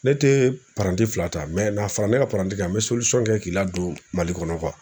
Ne tɛ fila ta n'a fara ne ka kan n bɛ kɛ k'i ladon Mali kɔnɔ